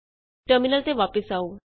terminal ਤੇ ਵਾਪਸ ਆਉ